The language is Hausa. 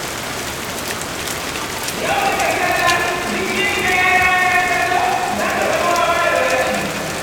Yau take salla, bikin ɗaya rana ta zo, za ta bar wawa da bashi.